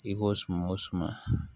I ko suma o suma